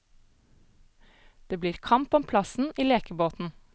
Det blir kamp om plassen i lekebåten.